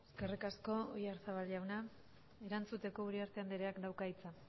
eskerrik asko oyarzabal jauna erantzuteko uriarte andreak dauka hitza